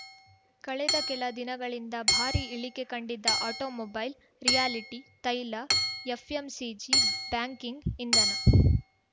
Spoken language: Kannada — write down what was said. ಕಳೆದ ಕೆಲ ದಿನಗಳಿಂದ ಭಾರೀ ಇಳಿಕೆ ಕಂಡಿದ್ದ ಆಟೋಮೊಬೈಲ್‌ ರಿಯಾಲಿಟಿ ತೈಲ ಎಫ್‌ಎಂಸಿಜಿ ಬ್ಯಾಂಕಿಂಗ್‌ ಇಂಧನ